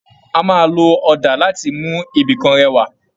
A máa lò ọdà láti mú ibìkan rẹwà.